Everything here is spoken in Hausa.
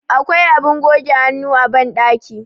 akwai abin goge hannu a bandaki